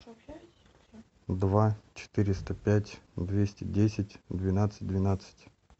два четыреста пять двести десять двенадцать двенадцать